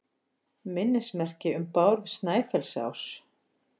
Minnismerki um Bárð Snæfellsás.